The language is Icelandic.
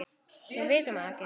Við vitum það ekki.